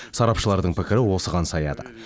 сарапшылардың пікірі осыған саяды